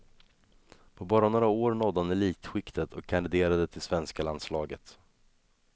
På bara några år nådde han elitskiktet och kandiderade till svenska landslaget.